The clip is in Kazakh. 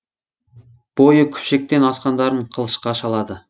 бойы күпшектен асқандарын қылышқа шалады